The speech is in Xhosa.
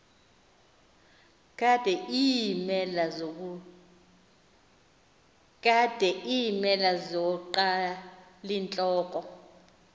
kade iimela zonqalintloko